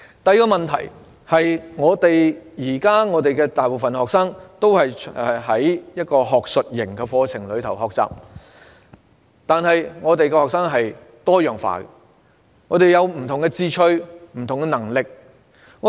第二個問題是，現時大部分學生都是在學術型的課程中學習，但學生是多樣化的，各有不同的志趣和能力。